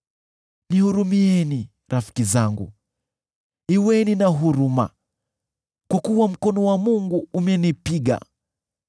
“Nihurumieni, rafiki zangu, kuweni na huruma, kwa kuwa mkono wa Mungu umenipiga.